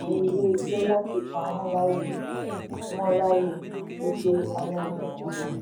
ilé iṣẹ́ láti pa wón láyò wón láyò wípé a yára jù wón lọ.